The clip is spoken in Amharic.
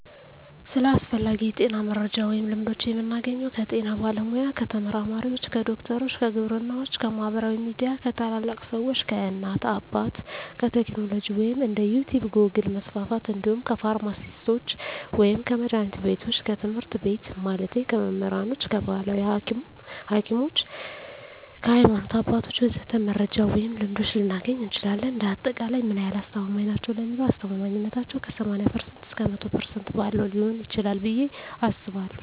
ስለ አስፈላጊ የጤና መረጃ ወይም ልምዶች የምናገኘው ከጤና ባለሙያ፣ ከተመራማሪዎች፣ ከዶክተሮች፣ ከግብርናዎች፣ ከማህበራዊ ሚዲያ፣ ከታላላቅ ሰዎች፣ ከእናት አባት፣ ከቴክኖሎጂ ወይም እንደ ዩቲቭ ጎግል% መስፍፍት እንዲሁም ከፍርማሲስቶች ወይም ከመድሀኒት ቢቶች፣ ከትምህርት ቤት ማለቴ ከመምህራኖች፣ ከባህላዊ ሀኪሞች፣ ከሀይማኖት አባቶች ወዘተ..... መረጃ ወይም ልምዶች ልናገኝ እንችላለን። እንደ አጠቃላይ ምን ያህል አስተማማኝ ናቸው ለሚለው አስተማማኝነታው ከ80% እስከ 100% ባለው ሊሆን ይችላል ብየ አስባለሁ።